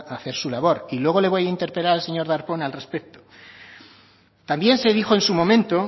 hacer su labor y luego le voy a interpelar al señor darpón al respecto también se dijo en su momento